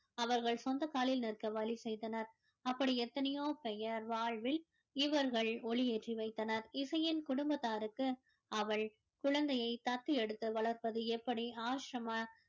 அவர்கள் சொந்த காலில் நிற்க வழி செய்தனர் அப்படி எத்தனையோ பேயர் வாழ்வில் இவர்கள் ஒளி ஏற்றி வைத்தனர் இசையின் குடும்பத்தாருக்கு அவள் குழந்தையை தத்து எடுத்து வளர்ப்பது எப்படி ஆசிரம